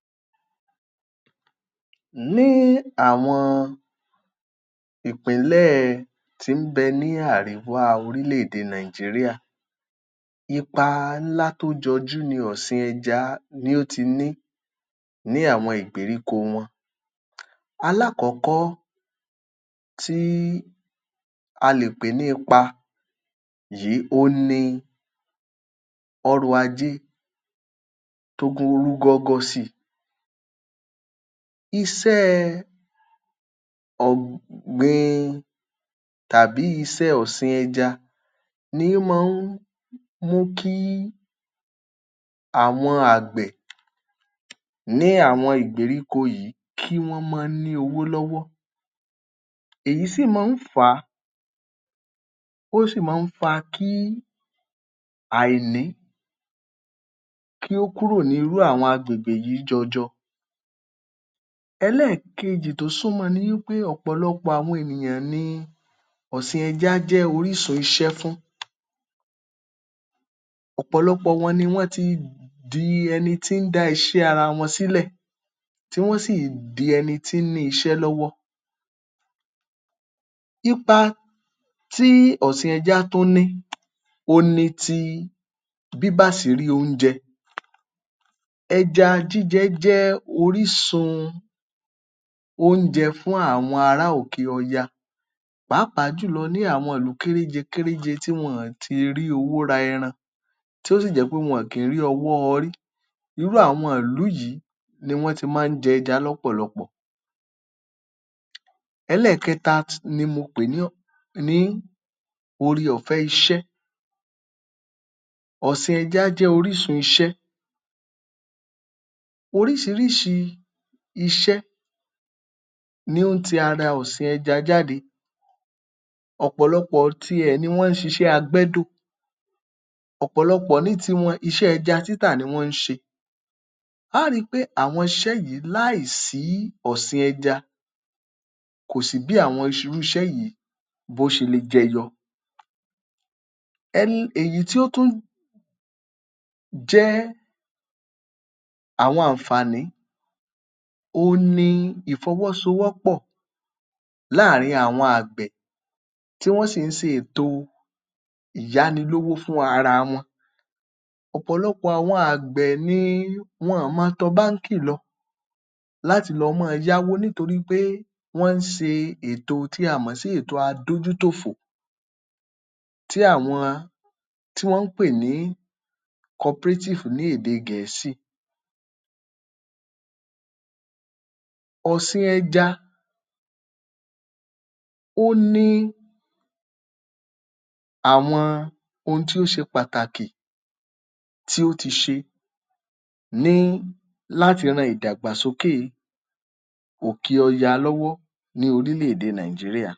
Àwọn ipa tí ìgbafẹ́ tí ó ní ṣe pẹ̀lú ọ̀sìn àbí odò ẹja ní ìlú Èkó àti Calabar tí ó ní ní orí ọrọ̀-ajé àwọn ìlú wọ̀n wọ̀nyí. Àkọ́kọ́ ní ìlú Èkó, um ìgbafẹ́ tó ní ṣe pẹ̀lú odò tàbí ọ̀sìn ẹja, ó máa ń fà á kí ìjọba kí wọ́n rí owó tí ń wọ inú àpò àsùnwọ̀n wọn kó rú gọ́gọ́ si. Ta bá wo àwọn ibi ìgbafẹ́ ní ìlú Èkó bíi ibi tí wọ́n ń pè ní ibi ìgbafẹ́ Ẹlẹ́gùúṣí. Irú àwọn ibi ìgbafẹ́ yìí máa ń jẹ́ kí àwọn ènìyàn wá láti òkè òkun, kí wọ́n wá gbádùn ara wọn. Nígbà tí wọ́n bá sì wá láti òkè òkun tàbí wá láti ìlú mìíràn wọ́ wá sí inú ìlú Èkó, èyí máa ń jẹ́ kí ọrọ̀-ajé ìlú Èkó kí ó rú gọ́gọ́ si. Ẹlẹ́ẹ̀kejì ni i ìpèsè iṣẹ́ um. Ìgbafẹ́ tí ó ní ṣe pẹ̀lú odò àti omi ní ìlú Èkó ó mú kí àwọn ọ̀dọ́ tí ò níṣẹ́ lọ́wọ́ nítorí pé gbogbo àwọn ilé ìgbafẹ́ yìí ni wọ́n ń gba ọ̀pọ̀lọpọ̀ àwọn ènìyàn sí iṣẹ́ níbẹ̀. Yálà àwọn ènìyàn tí ó jẹ́ awakọ̀ ojú omi ni tàbí àwọn ènìyàn tí ó jẹ́ wí pé wọn ọ́ ma ṣiṣẹ́ ní àwọn ilé-ìtura àti àwọn ilé ìgbafẹ́ níbi tí àwọn odò yíì wà. Ẹlẹ́ẹ̀kẹta ẹ̀wẹ̀ ní wí pé, um àwọn ibi àti ó máa ń mú kí ọrọ̀-ajé agbègbè náà tún gbèrú. Bíi tá a bá wo bile oúnjẹ, àwọn ibi tí wọ́n ti ń ta nǹkan, gbogbo àwọn wọ̀nyí náà ni ọrọ̀-ajé wọ́n máa ń gbèrú si. Ní ìlú Kalabá ń tiẹ̀, a á ri í pé ayẹyẹ ẹ ìgbafẹ́ ńlá kán wà tí wọ́n ń pè ní Kalabá um Kanifà. Kanifà yìí máa ń jẹ́ kí ọrọ̀-ajé ìlú Kalabá kó rú gọ́gọ́ si nítorí ọ̀pọ̀ àwọn ní mọ ọ́n wá sí ìlú yìí. Ẹlẹ́ẹ̀kejì ni wí pé àwọn ohun ìgbàlódé tí ìlú Kalabá ní ó ti pọ̀ sí o. Àwọn ohun ìgbàlódé bí ọ̀nà tí ó dára, àwọn ilé ìtura tí ó wuyì, ó sì mú kí ìlú Kalabá um kó dẹ́ kó tóbi kó sì dàgbà si.